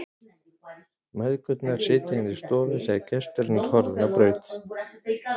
Mæðgurnar sitja inni í stofu þegar gesturinn er horfinn á braut.